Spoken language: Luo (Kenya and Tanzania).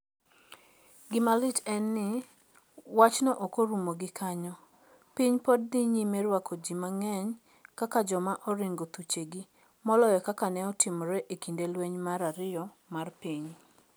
Gima lit en ni, wachno ok orumo gi kanyo: Piny pod dhi nyime rwako ji mang'eny kaka joma oringo thuchegi, moloyo kaka ne otimore e kinde lweny mar ariyo mar piny.